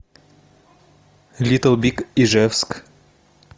литл биг ижевск